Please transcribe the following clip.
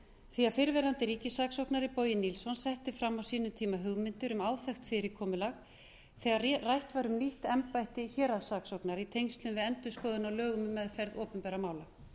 því fyrrverandi ríkissaksóknari bogi nilsson setti fram á sínum tíma hugmyndir um áþekkt fyrirkomulag þegar rætt var um nýtt embætti héraðssaksóknara í tengslum við endurskoðun á lögum um meðferð opinberra mála